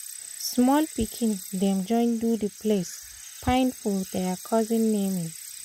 small pikin dem join do the place fine for der cousin naming